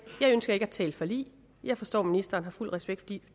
jeg ønsker ikke at tale forlig jeg forstår at ministeren har fuld respekt